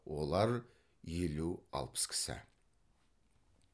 олар елу алпыс кісі